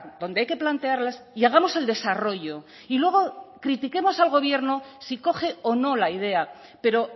donde hay que plantearlas y hagamos el desarrollo y luego critiquemos al gobierno si coge o no la idea pero